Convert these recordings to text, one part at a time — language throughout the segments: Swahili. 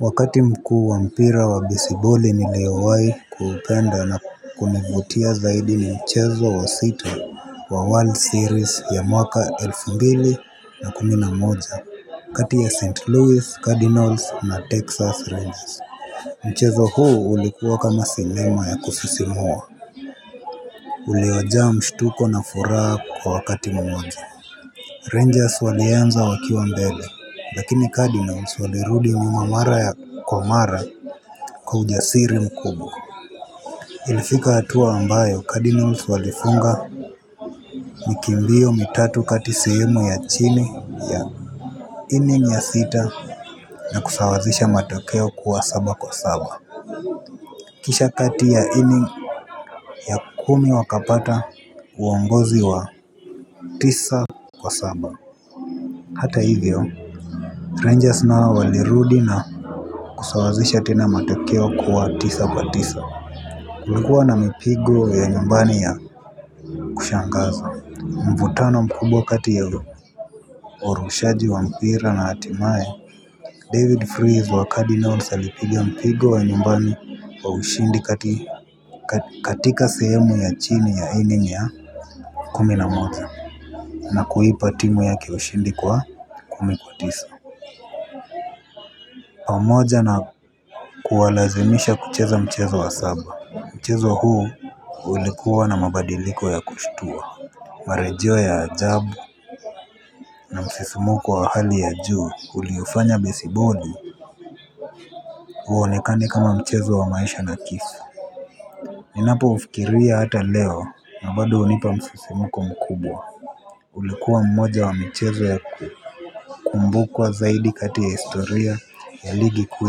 Wakati mkuu wa mpira wa besiboli niliowai kuupenda na kunivutia zaidi ni mchezo wa sita wa world series ya mwaka elfu mbili na kumi na moja kati ya st louis cardinals na texas rangers mchezo huu ulikuwa kama sinema ya kusisimua. Uliojaa mshtuko na furaha kwa wakati mmoja. Rangers walianza wakiwa mbele, lakini Cardinals walirudi nyuma mara kwa mara kwa ujasiri mkubwa. Ilifika hatua ambayo Cardinals walifunga mbio mitatu kati sehemu ya chini, inning ya sita na kusawazisha matokeo kuwa saba kwa saba. Kisha kati ya inning ya kumi wakapata uongozi wa tisa kwa saba. Hata hivyo Rangers nao walirudi na kusawazisha tena matokeo kuwa tisa kwa tisa. Kulikuwa na mipigo ya nyumbani ya kushangaza. Mvutano mkubwa kati ya orushaji wa mpira na atimae David Fries wa Cardinals alipiga mpigo wa nyumbani wa ushindi katika sehemu ya chini ya inning ya kumi na moa na kuipa timu yake ushindi kwa kumi kwa tisa pamoja na kuwalazimisha kucheza mchezo wa saba mchezo huu ulikuwa na mabadiliko ya kushtua. Marejeo ya ajabu, na msisimuko wa hali ya juu uliofanya besiboli huonekane kama mchezo wa maisha na kisu. Ninapo ufikiria hata leo na bado hunipa msisimko mkubwa. Ulikuwa mmoja wa michezo ya kukumbukwa zaidi kati ya historia ya ligikuu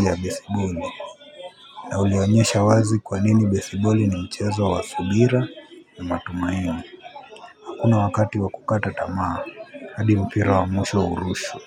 ya besiboli. Na ulionyesha wazi kwanini besiboli ni mchezo wa subira ni matumaini hakuna wakati wa kukata tamaa adi mpira wa mwisho o urushwe.